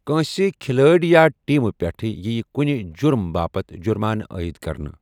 کٲنٛسہِ کھلٲڑۍ یا ٹیمہِ پٮ۪ٹھ ییہِ کُنہِ جُرُم باپتھ جُرمانہٕ عائد کرنہٕ۔